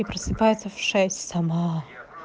и просыпается в шесть сама